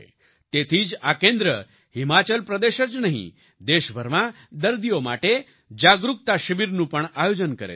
તેથી જ આ કેન્દ્ર હિમાચલ પ્રદેશ જ નહીં દેશભરમાં દર્દીઓ માટે જાગૃકતા શિબિરનું પણ આયોજન કરે છે